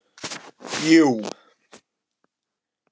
Jú